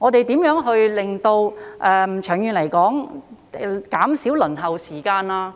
長遠來說，我們要看看如何減少輪候時間。